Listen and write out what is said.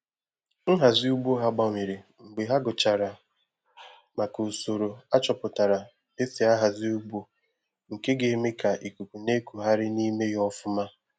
Nhazi ugbo ha gbanwere mgbe ha gụchara maka usoro achọpụtara esi ahazi ugbo nke ga eme ka ikuku na ekugharị na ime ya ọfụma